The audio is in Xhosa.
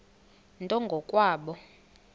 nto ngo kwabo